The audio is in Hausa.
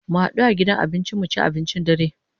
Mu hadu a gidan abinci mu ci abincin dare.